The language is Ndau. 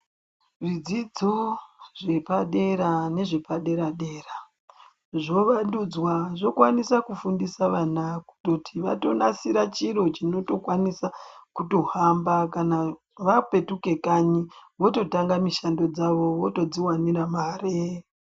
Zvidzidzo zvepadera nezvepadera dera zvovandudzwa. Zvokwanisa kufundisa vana kutoti vatonasira chiro chinotokwanisa kutohamba. Kana vapetuke kanyi vototanga mishando dzawo, votodziwanira mare.